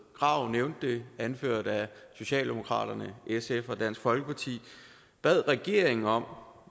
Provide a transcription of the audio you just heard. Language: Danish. krag nævnte det anført af socialdemokraterne sf og dansk folkeparti bad regeringen om